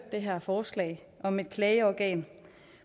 det her forslag om et klageorgan